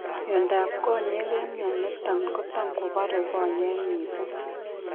Miondab konyek en mioitani komatan kobare konyek mising